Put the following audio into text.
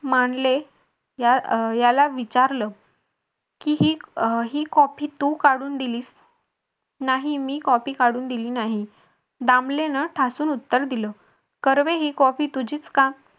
मानले याला विचारलं की ही copy तू काढून दिली नाही मी copy काढून दिली नाही दामलेन ठासून उत्तर दिल कर्वे ही copy तुझीच का